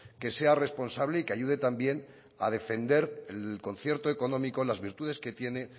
que sea responsable y que ayude también a defender el concierto económico las virtudes que tiene